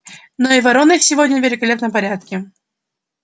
но и вороной сегодня в великолепном порядке